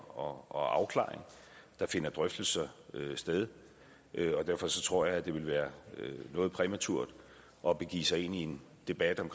og afklaring der finder drøftelser sted og derfor tror jeg det ville være noget præmaturt at begive sig ind i en debat om